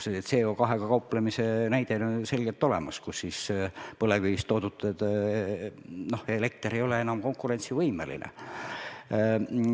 See CO2-ga kauplemise näide on ju selgelt olemas, kus põlevkivist toodetud elekter ei ole enam konkurentsivõimeline.